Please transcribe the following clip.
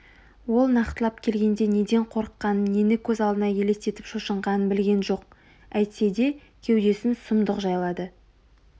ол нақтылап келгенде неден қорыққанын нені көз алдына елестетіп шошынғанын білген жоқ әйтсе де кеудесін сұмдық жайлады